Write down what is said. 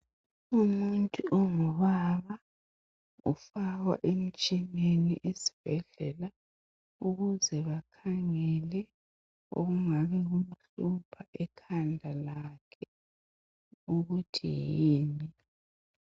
Umuntu ongubaba ofakhwa emtshineni esibhedlela ukuze bakhangele okungabe kumhlupha ekhanda lakhe ukuthi yini.